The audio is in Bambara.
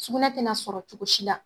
Sugunɛ tɛna sɔrɔ cogo si la